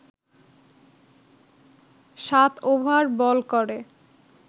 সাত over bowl করে